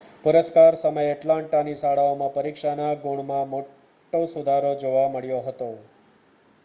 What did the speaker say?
પુરસ્કાર સમયે એટલાન્ટાની શાળાઓમાં પરીક્ષાના ગુણમાં મોટો સુધારો જોવા મળ્યો હતો